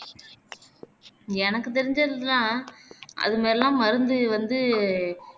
எனக்கு தெரிஞ்சதுதான் அதுங்கயெல்லாம் மருந்து வந்து